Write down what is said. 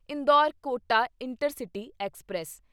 Indore Kota intercity express